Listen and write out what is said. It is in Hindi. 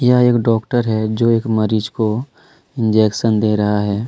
यह एक डॉक्टर है जो एक मरीज को इंजेक्शन दे रहा है।